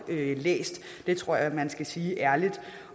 blev læst det tror jeg man skal sige ærligt